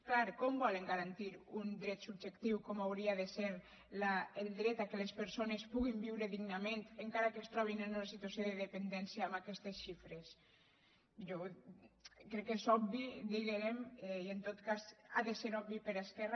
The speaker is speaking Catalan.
clar com volen garantir un dret subjectiu com ho hauria de ser el dret que les persones puguin viure dignament encara que es trobin en una situació de dependència amb aquestes xifres jo crec que és obvi diguérem i en tot cas ha de ser obvi per a esquerra